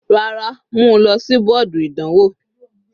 Rárá, mú u lọ sí bọ́ọ̀dù ìdánwò.